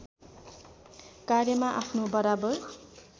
कार्यमा आफ्नो बराबर